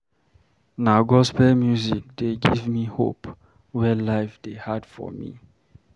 Na gospel music dey give me hope when life dey hard for me.